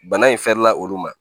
Bana in fɛrɛ la olu ma